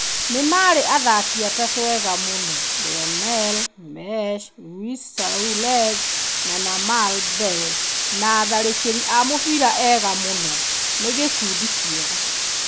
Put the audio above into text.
Nĩ marĩ athaki atatũ eega mũno - Lionel Messi, Luis Suarez na Neymar mbere. Nĩ atharĩkĩri a mũbira eega mũno. Nĩ gĩkundi kĩega.